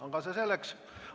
Aga see selleks.